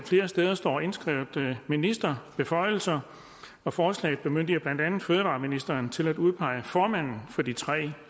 flere steder står indskrevet ministerbeføjelser og forslaget bemyndiger blandt andet fødevareministeren til at udpege formanden for de tre